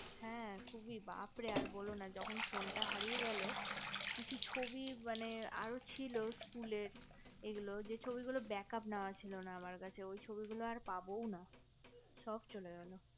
হা খুবই বাপরে আর বোলো না যখন phone টা হারিয়ে গেলো কিছু ছবি মানে আর ছিল school এর গুলো ওই ছবিগুলোর break up নেওয়া ছিল না আমার কাছে ওগুলো আর পাবোও না সব চলে গেলো